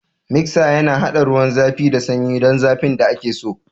Miksa yana haɗa ruwan zafi da sanyi don zafin da ake so.